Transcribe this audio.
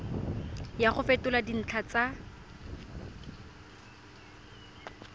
ya go fetola dintlha tsa